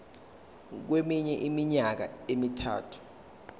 kweminye iminyaka emithathu